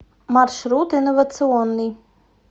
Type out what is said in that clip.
маршрут инновационный